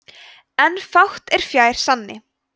en fátt er fjær sanni